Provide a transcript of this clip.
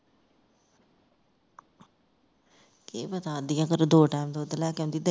ਕੀ ਪਤਾ ਅਧਿਆ ਕਰੋ ਦੋ time ਦੁਧ ਲੈ ਕੇ ਆਉਂਦੀ